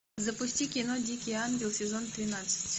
запусти кино дикий ангел сезон тринадцать